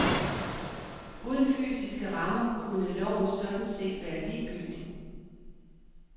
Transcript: Uden fysiske rammer kunne loven sådan set være ligegyldig.